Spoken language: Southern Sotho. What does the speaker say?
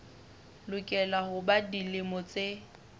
lokela ho ba dilemo tse